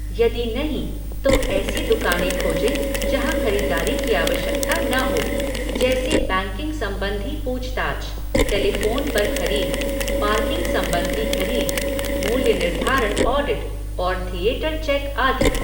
यदि नहीं, तो ऐसी दुकानें खोजें जहाँ खरीदारी की आवश्यकता न हो, जैसे बैंकिंग सम्बन्धी पूछताछ, टेलीफोन पर खरीद, पार्किंग सम्बन्धी खरीद, मूल्य निर्धारण ऑडिट और थिएटर चेक आदि।